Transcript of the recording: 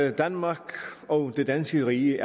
at danmark og det danske rige